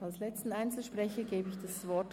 Nun hat Grossrat Rösti das Wort.